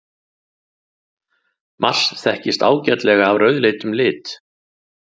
Mars þekkist ágætlega af rauðleitum lit.